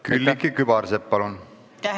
Külliki Kübarsepp, palun!